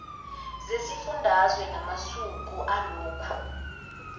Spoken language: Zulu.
zesifundazwe namasu alokho